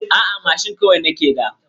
A'a mashin kawai nake da.